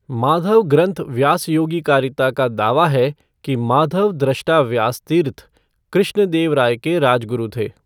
माधव ग्रंथ व्यासयोगिकारिता का दावा है कि माधव द्रष्टा व्यासतीर्थ कृष्ण देव राय के राजगुरु थे।